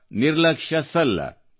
ಈ ನಿಬಂಧನೆನಿರ್ಬಂಧಗಳಿಂದ ಬಿಡುಗಡೆಯಿಲ್ಲ